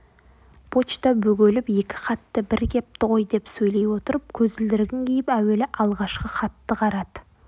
почта бөгеліп екі хаты бір кепті ғой деп сөйлей отырып көзілдірігін киіп әуелі алғашқы хатты қарады